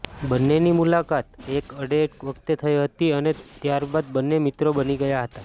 બન્નેની મુલાકાત એક એડ વખતે થઈ હતી અને ત્યાર બાદ બન્ને મિત્રો બની ગયા હતા